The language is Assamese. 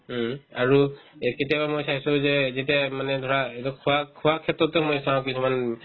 উম, আৰু এই কেতিয়াবা মই চাইছো যে যেতিয়াই মানে ধৰা এইটো খোৱা খোৱা ক্ষেত্ৰততো মই চাও কিছুমান